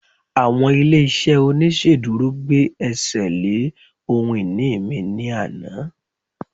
àwọn ilé iṣẹ oniṣeduro gbe ẹsẹ le ohun ini mi ni Ana